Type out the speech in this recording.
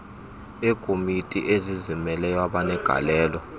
eekomiti ezizimeleyo abenegalelo